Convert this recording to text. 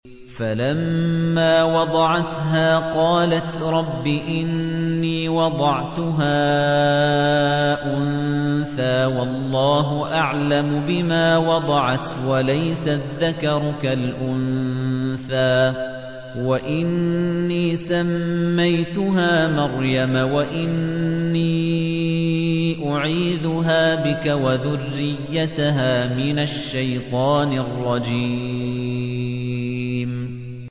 فَلَمَّا وَضَعَتْهَا قَالَتْ رَبِّ إِنِّي وَضَعْتُهَا أُنثَىٰ وَاللَّهُ أَعْلَمُ بِمَا وَضَعَتْ وَلَيْسَ الذَّكَرُ كَالْأُنثَىٰ ۖ وَإِنِّي سَمَّيْتُهَا مَرْيَمَ وَإِنِّي أُعِيذُهَا بِكَ وَذُرِّيَّتَهَا مِنَ الشَّيْطَانِ الرَّجِيمِ